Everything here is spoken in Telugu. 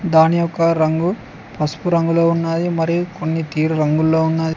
దాని యొక్క రంగు పసుపు రంగులో ఉన్నది మరియు కొన్ని తీరు రంగుల్లో ఉన్నది.